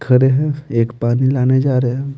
खड़े हैं एक पानी लाने जा रहे हैं।